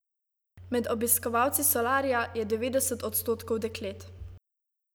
Med obiskovalci solarija je devetdeset odstotkov deklet.